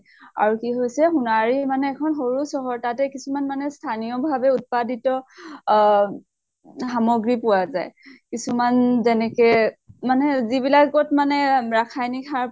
আৰু কি হৈছে সোনাৰী মানে এখন সৰু চহৰ। তাতে কিছুমান মানে স্থানীয় ভাবে উৎপাদিত অহ সামগ্ৰি পোৱা যায়। কিছুমান যেনেকে মানে যিবিলাকত মানে ৰাসায়নিক সাৰ